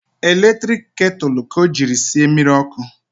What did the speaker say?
Eletrik ketulu ka o jiri sie mmiri ọkụ